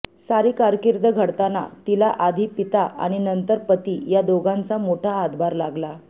सारी कारकीर्द घडताना तिला आधी पिता आणि नंतर पती या दोघांचा मोठा हातभार लागला